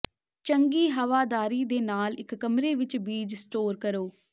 ਚੰਗੀ ਹਵਾਦਾਰੀ ਦੇ ਨਾਲ ਇੱਕ ਕਮਰੇ ਵਿੱਚ ਬੀਜ ਸਟੋਰ ਕਰੋ